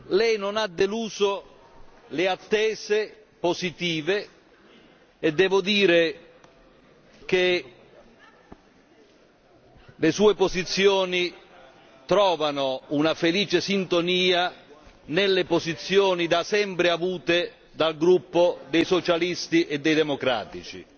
Lei non ha deluso le attese positive e devo dire che le sue posizioni trovano una felice sintonia nelle posizioni da sempre avute dal Gruppo dei Socialisti e dei Democratici.